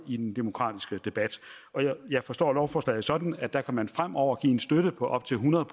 i den demokratiske debat jeg forstår lovforslaget sådan at der kan man fremover give en støtte på op til hundrede